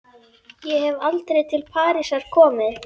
Ég hef aldrei til Parísar komið.